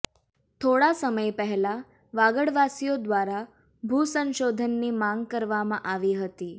થોડા સમય પહેલાં વાગડવાસીઓ દ્વારા ભુસંશોધનની માગ કરવામાં આવી હતી